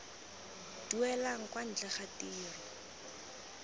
duelang kwa ntle ga tiro